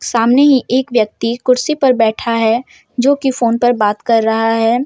सामने ही एक व्यक्ति कुर्सी पर बैठा है जो कि फोन पर बात कर रहा है।